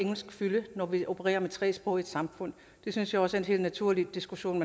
fylde når vi opererer med tre sprog i vores samfund det synes jeg også er en helt naturlig diskussion